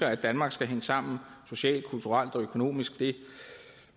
at danmark skal hænge sammen socialt kulturelt og økonomisk jeg